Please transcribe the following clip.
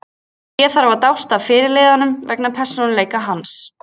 Ég þarf að dást að fyrirliðanum vegna persónuleika hans.